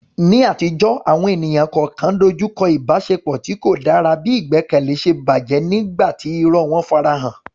Ní àtijọ́, àwọn ènìyàn kọ̀ọ̀kan dojú kọ ìbáṣepọ̀ tí kò dára bí ìgbẹ́kẹ̀lé ṣe bàjẹ́ nígbà tí irọ́ wọn farahàn.